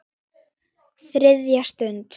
ÞRIÐJA STUND